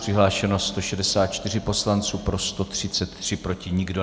Přihlášeno 164 poslanců, pro 133, proti nikdo.